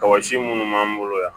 Kɔsi minnu b'an bolo yan